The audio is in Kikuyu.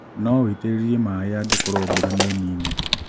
No uitĩrĩrie maĩĩ angĩkorwo mbura nĩ nini